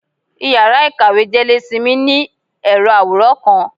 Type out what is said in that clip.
íyará ikáwe jelésímí, ni erò aworán kan.